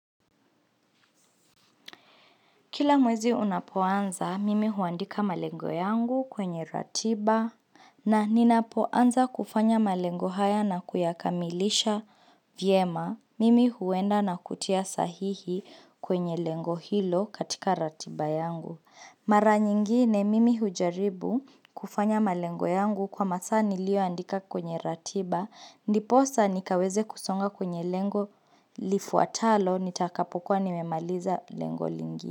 Kila mwezi unapoanza, mimi huandika malengo yangu kwenye ratiba, na ninapoanza kufanya malengo haya na kuyakamilisha vyema, mimi huenda na kutia sahihi kwenye lengo hilo katika ratiba yangu. Mara nyingine, mimi hujaribu kufanya malengo yangu kwa masaa nilio andika kwenye ratiba, ndiposa nikaweze kusonga kwenye lengo lifuatalo, nitakapokuwa nimemaliza lengo lingi.